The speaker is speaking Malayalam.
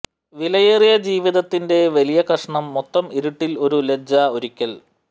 വിലയേറിയ ജീവിതത്തിന്റെ വലിയ കഷണം മൊത്തം ഇരുട്ടിൽ ഒരു ലജ്ജ ഒരിക്കൽ